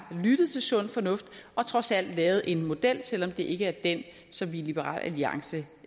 lyttet til sund fornuft og trods alt have lavet en model selv om det ikke er den som vi i liberal alliance